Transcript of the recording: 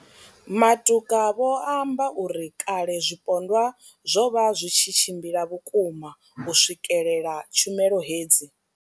Matuka vho amba uri kale zwipondwa zwo vha zwi tshi tshimbila vhukuma u swikelela tshumelo hedzi.